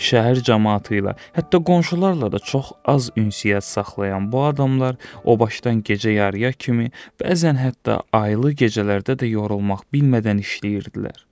Şəhər camaatı ilə, hətta qonşularla da çox az ünsiyyət saxlayan bu adamlar o başdan gecə yarıya kimi, bəzən hətta aylı gecələrdə də yorulmaq bilmədən işləyirdilər.